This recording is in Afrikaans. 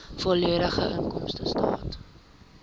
volledige inkomstestaat